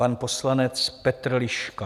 Pan poslanec Petr Liška.